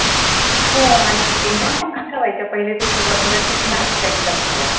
हो आणि exam पण कशा व्हायच्या, पहिले तर सुरुवातीला tickmark च्या exam झाल्या.